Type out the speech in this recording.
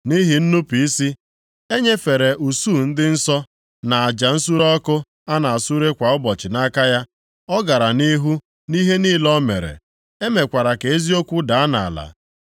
Nʼihi nnupu isi, e nyefere usuu ndị nsọ + 8:12 Maọbụ, ndị agha na aja nsure ọkụ a na-esure kwa ụbọchị nʼaka ya. Ọ gara nʼihu nʼihe niile o mere. E mekwara ka eziokwu daa nʼala.